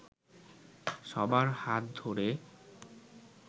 সবার হাত ধরে